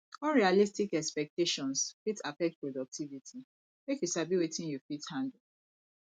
unrealistic expectations fit affect productivity make you sabi wetin you fit handle